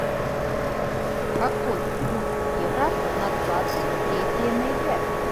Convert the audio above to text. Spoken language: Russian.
какой курс евро на двадцать третье ноября